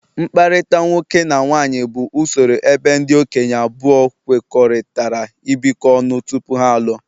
mkpakọrịta nwoke na nwaanyị bụ usoro ebe ndị okenye abụọ kwekọrịtara ibikọ ọnụ tupu ha alụọ.